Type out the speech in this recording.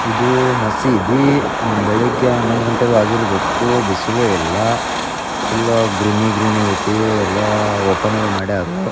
ಇದು ಮಸೀದಿ ಬೆಳಿಗ್ಗೆ ಹನ್ನೊಂದು ಗಂಟೆ ಆಗಿರಬೇಕು ಬಿಸಿಲು ಎಲ್ಲಾ ಫುಲ್ಲು ಗ್ರೀನೀ ಗ್ರೀನೀ ಐತಿ ಎಲ್ಲಾ ಓಪನ್ ಅದು ಮಾಡ್ಯಾರು.